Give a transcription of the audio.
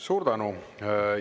Suur tänu!